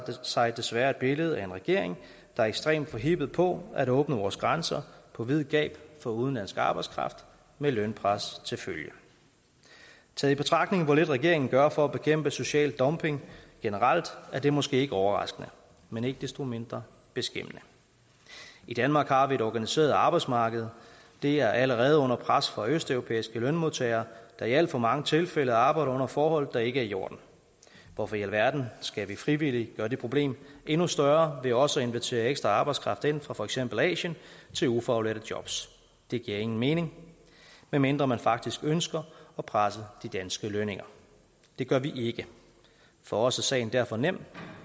sig desværre et billede af en regering der er ekstremt forhippet på at åbne vores grænser på vid gab for udenlandsk arbejdskraft med lønpres til følge taget i betragtning hvor lidt regeringen gør for at bekæmpe social dumping generelt er det måske ikke overraskende men ikke desto mindre beskæmmende i danmark har vi et organiseret arbejdsmarked det er allerede under pres fra østeuropæiske lønmodtagere der i alt for mange tilfælde har arbejdet under forhold der ikke er i orden hvorfor i alverden skal vi frivilligt gøre det problem endnu større ved også at invitere ekstra arbejdskraft ind fra for eksempel asien til ufaglærte jobs det giver ingen mening medmindre man faktisk ønsker at presse de danske lønninger det gør vi ikke for os er sagen derfor nem